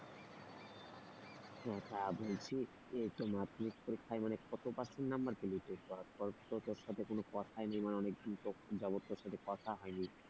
হ্যাঁ আহ বলছি যে মাধ্যমিক পরীক্ষায় মানে কত percent number পেলি তুই তারপর তো তোর সাথে কোন কথাই নেই মানে অনেক দিন যাবত তোর সাথে কোন কথা হয়নি।